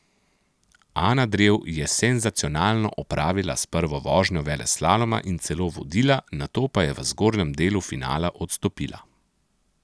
Ana Drev je senzacionalno opravila s prvo vožnjo veleslaloma in celo vodila, nato pa je v zgornjem delu finala odstopila.